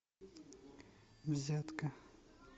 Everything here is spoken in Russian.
взятка